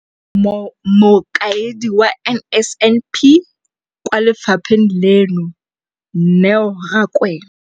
Mokaedi wa NSNP kwa lefapheng leno, Neo Rakwena,